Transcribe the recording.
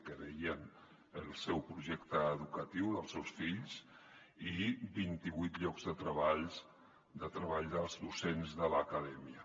que veien el seu projecte educatiu dels seus fills i vint i vuit llocs de treball dels docents de l’acadèmia